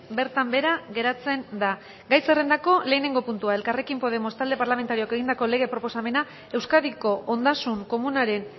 bertan behera geratzen da gai zerrendako lehenengo puntua elkarrekin podemos talde parlamentarioak egindako lege proposamena euskadiko ondasun komunaren